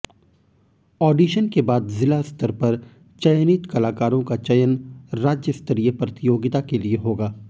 addition के बाद जिला स्तर पर चयनित कलाकारों का चयन राज्यस्तरीय प्रतियोगिता के लिए होगा